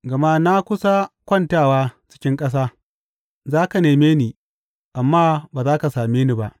Gama na kusa kwantawa cikin ƙasa; za ka neme ni, amma ba za ka same ni ba.